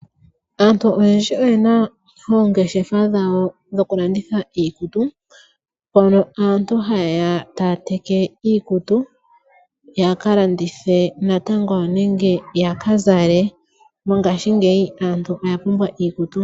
Aantu oyendji oyena oongeshefa dhawo dhokulanditha iikutu. Mono aantu hayeya taya teke iikutu yakalandithe natango nenge yakazale. Mongashingeyi aantu oyapumbwa iikutu.